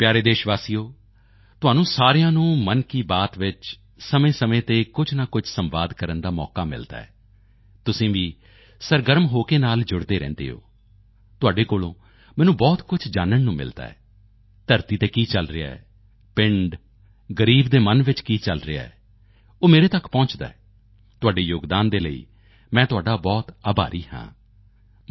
ਮੇਰੇ ਪਿਆਰੇ ਦੇਸ਼ ਵਾਸੀਓ ਤੁਹਾਨੂੰ ਸਾਰਿਆਂ ਨੂੰ ਮਨ ਕੀ ਬਾਤ ਵਿੱਚ ਸਮੇਂਸਮੇਂ ਤੇ ਕੁਝ ਨਾ ਕੁਝ ਸੰਵਾਦ ਕਰਨ ਦਾ ਮੌਕਾ ਮਿਲਦਾ ਹੈ ਤੁਸੀਂ ਵੀ ਸਰਗਰਮ ਹੋ ਕੇ ਨਾਲ ਜੁੜਦੇ ਰਹਿੰਦੇ ਹੋ ਤੁਹਾਡੇ ਕੋਲੋਂ ਮੈਨੂੰ ਬਹੁਤ ਕੁਝ ਜਾਨਣ ਨੂੰ ਮਿਲਦਾ ਹੈ ਧਰਤੀ ਤੇ ਕੀ ਚੱਲ ਰਿਹਾ ਹੈ ਪਿੰਡ ਗ਼ਰੀਬ ਦੇ ਮੰਨ ਵਿੱਚ ਕੀ ਚੱਲ ਰਿਹਾ ਹੈ ਉਹ ਮੇਰੇ ਤੱਕ ਪਹੁੰਚਦਾ ਹੈ ਤੁਹਾਡੇ ਯੋਗਦਾਨ ਦੇ ਲਈ ਮੈਂ ਤੁਹਾਡਾ ਬਹੁਤ ਆਭਾਰੀ ਹਾਂ